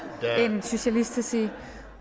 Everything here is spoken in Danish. en socialist at sige